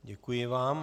Děkuji vám.